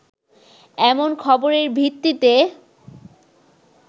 এমন খবরের ভিত্তিতে